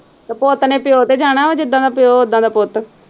ਤੇ ਪੁੱਤ ਨੇ ਪਿਉ ਤੇ ਜਾਣਾ ਹੈ ਜਿੱਦਾਂ ਦਾ ਪਿਉ ਓਦਾਂ ਦਾ ਪੁੱਤ।